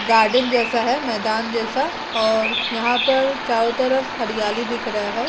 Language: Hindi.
गार्डन जैसा है मैदान जैसा और यहां पर चारों तरफ हरियाली दिख रहा है।